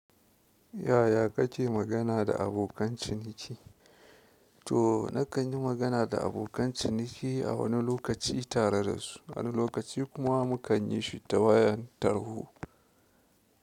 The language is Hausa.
Yaya kake magana da abokan ciniki? To nakan yi magana da abokan ciniki a wani lokaci tare dasu, wani lokaci kuma mukan yishi ta wayan tarho.